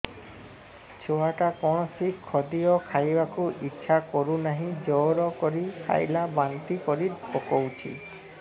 ଛୁଆ ଟା କୌଣସି ଖଦୀୟ ଖାଇବାକୁ ଈଛା କରୁନାହିଁ ଜୋର କରି ଖାଇଲା ବାନ୍ତି କରି ପକଉଛି